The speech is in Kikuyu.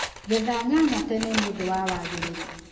Getha nyanya tene nĩũndũ wa wagĩrĩru.